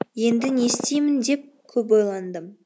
енді нестеймін деп көп ойландым